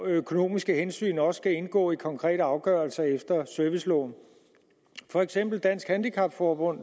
økonomiske hensyn også indgå i konkrete afgørelser efter serviceloven for eksempel er dansk handicap forbund